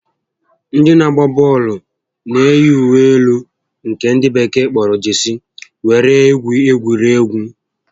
Ndị na-agba bọọlụ na eyi uwe elu nke ndị bekee kpọrọ 'Jesii' were egwu egwuregwu